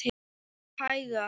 Bara hægar.